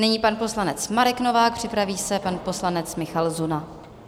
Nyní pan poslanec Marek Novák, připraví se pan poslanec Michal Zuna.